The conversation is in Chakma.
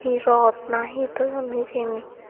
he rod na he toyon hijeni.